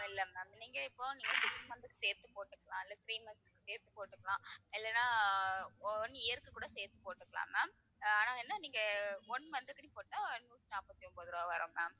இல்ல ma'am நீங்க இப்ப நீங்க six month க்கு சேர்த்து போட்டுக்கலாம் இல்ல three months க்கு சேர்த்து போட்டுக்கலாம் இல்லன்னா one year க்கு கூடச் சேர்த்து போட்டுக்கலாம் ma'am. ஆனா என்ன நீங்க one month துக்குனு போட்டா நூத்தி நாப்பத்தி ஒன்பது ரூபாய் வரும் ma'am